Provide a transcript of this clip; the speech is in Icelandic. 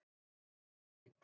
Var læk